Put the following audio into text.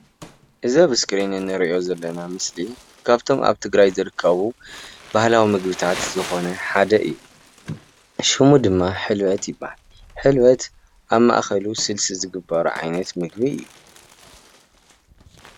እዚ ኣብ እስክሪን እንሪኦ ዘለና ምስሊ ካብቶም ኣብ ትግራይ ዝርከቡ ባህላዊ ምግብታት ዝኮነ ሓደ እዩ፡፡ ሽሙ ድማ ሕልበት ይባሃል፡፡ ሕልበት ኣብ ማእከሉ ስልሲ ዝግበሮ ዓየነት ምግቢ እዩ፡፡